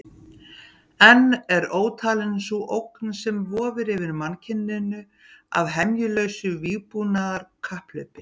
Enn er ótalin sú ógn sem vofir yfir mannkyninu af hemjulausu vígbúnaðarkapphlaupi.